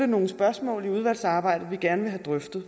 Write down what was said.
nogle spørgsmål i udvalgsarbejdet som vi gerne vil have drøftet